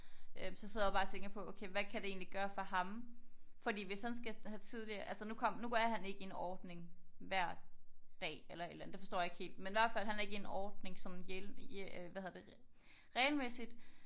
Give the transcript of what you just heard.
Øh så sidder jeg bare og tænker på okay hvad kan det egentlig gøre for ham fordi hvis han skal have tidligere altså nu kom nu er han ikke i en ordning hver dag eller et eller andet. Det forstår jeg ikke helt. Men i hvert fald han er ikke i ordning sådan hvad hedder det regelmæssigt